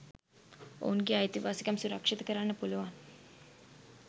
ඔවුන්ගේ අයිතිවාසිකම් සුරක්ෂිත කරන්න පුළුවන්